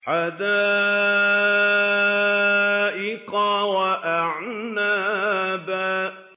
حَدَائِقَ وَأَعْنَابًا